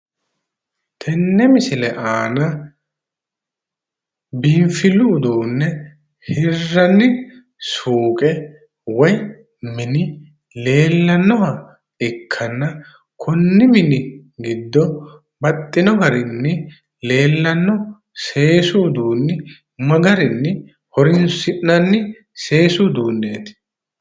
Tenne misile aana biinfillu uduunne hirranni suuqe woyi mini leellannoha ikkanna kunni mini giddo baxxino garinni leellanno seesu uduunni ma garinni horoonsi'nanni seesu uduunneeti?